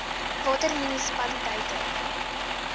watter munisipaliteite ii